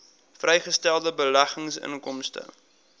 vrygestelde beleggingsinkomste